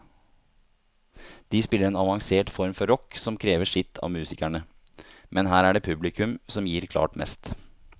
De spiller en avansert form for rock som krever sitt av musikerne, men her er det publikum som gir klart mest.